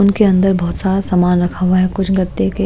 उनके अंदर बहुत सारा समान रखा हुआ है कुछ गद्दे के--